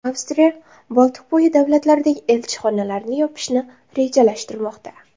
Avstriya Boltiqbo‘yi davlatlaridagi elchixonalarini yopishni rejalashtirmoqda.